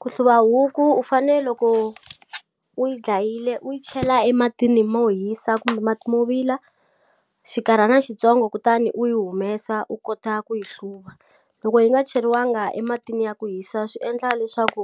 Ku hluva huku u fane loko u yi dlayile u yi chela ematini mo hisa kumbe mati mo vila xinkarhana xitsongo kutani u yi humesa u kota ku yi hluva loko yi nga cheriwanga ematini ya ku hisa swi endla leswaku